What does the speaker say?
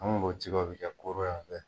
An kun b'o cigɛ o be kɛ koro y'an fɛ